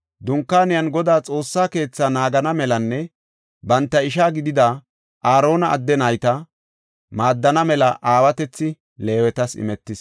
Dunkaaniyanne Godaa Xoossa keetha naagana melanne banta isha gidida, Aarona adde nayta, maaddana mela aawatethi Leewetas imetis.